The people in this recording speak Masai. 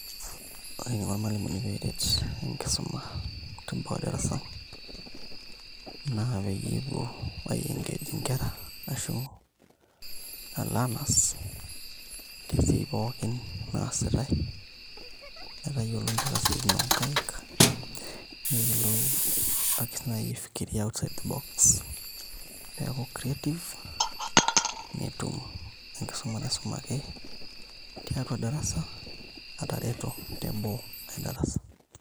Ore eniko irmalimuni pee eret enkisuma teboo e darasa naa peyie epuo ai engage ashu leaners tesiai pookin naasitai metayiolo mpaka isiaitin oonkaik neyiolou ake naai sii aifikiria outside the box pee eeku creative netum enkisuma naisumaki tiatua darasa atareto teboo e darasa.